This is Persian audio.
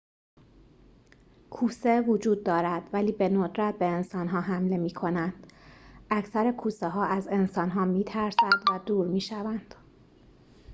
کوسه وجود دارد ولی به‌ندرت به انسان‌ها حمله می‌کنند اکثر کوسه‌ها از انسان‌ها می‌ترسد و دور می‌شوند